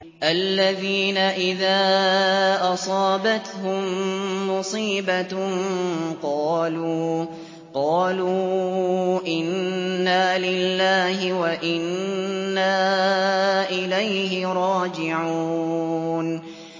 الَّذِينَ إِذَا أَصَابَتْهُم مُّصِيبَةٌ قَالُوا إِنَّا لِلَّهِ وَإِنَّا إِلَيْهِ رَاجِعُونَ